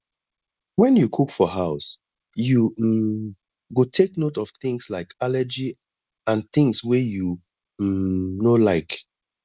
when you cook for house you um go take note of things like allergy and things wey you um no like